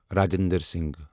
Rajendra Singh